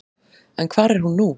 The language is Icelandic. En hvar er hún nú?